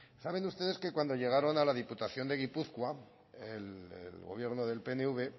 saben ustedes que cuando llegaron a la diputación de gipuzkoa el gobierno del pnv